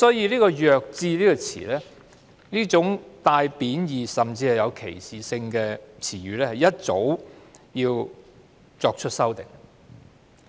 所以，"弱智"這種帶有貶意甚至是歧視性的詞語，其實早應作出修訂。